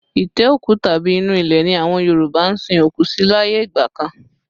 Itẹ́ òkú tàbí inú ilé ni àwọn Yoruba ń sin òkú sí láyé ìgbà kan